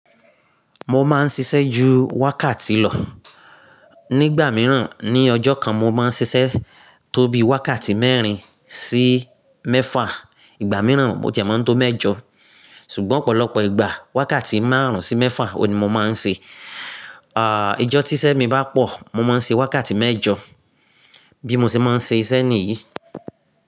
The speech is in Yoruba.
Mo máa ń ṣiṣẹ́ ju wákàtí lọ. Nígbà mìíràn, ní ọjọ́ kan mo máa ń ṣiṣẹ́ tó bí wákàtí mẹ́rin sí mẹ́fa. Ìgbà mìíràn mo ti a máa ń tó mẹ́jọ. Ṣùgbọ́n ọ̀pọ̀lọpọ̀ ìgbà wákàtí márùn-ún sí mẹ́fa òní mo máa ń ṣe. À íjọ́ tíṣẹ́ mi bá pọ̀, mo máa ń ṣe wákàtí mẹ́jọ bí mo ṣe máa ń ṣe iṣẹ́ nìyí.